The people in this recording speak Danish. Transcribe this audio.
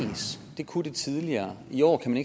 det kunne det tidligere i år kan